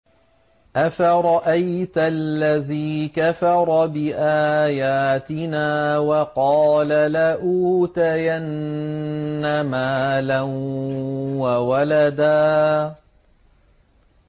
أَفَرَأَيْتَ الَّذِي كَفَرَ بِآيَاتِنَا وَقَالَ لَأُوتَيَنَّ مَالًا وَوَلَدًا